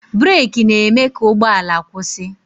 breeki na-e mee ka ụgbọala kwụsị